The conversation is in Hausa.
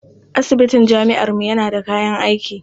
Asibitin jami'armu yana da kayan aiki.